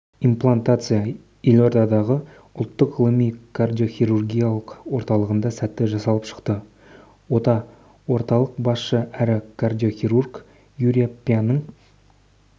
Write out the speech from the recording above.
имплантация елордадағы ұлттық ғылыми кардиохирургиялық орталығында сәтті жасалып шықты ота орталық басшысы әрі кардиохирург юрия пьяның